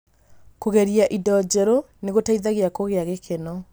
Kũgeria indo njerũ nĩ gũteithagia kũgĩa gĩkeno.